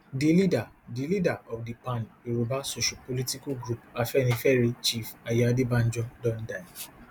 di leader di leader of di pan yoruba sociopolitical group afenifere chief ayo adebanjo don die